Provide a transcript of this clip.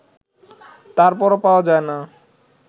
তারপরও পাওয়া যায় না